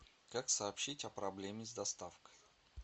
как сообщить о проблеме с доставкой